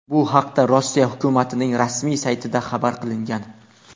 Bu haqda Rossiya hukumatining rasmiy saytida xabar qilingan .